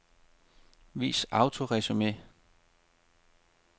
Vis autoresumé.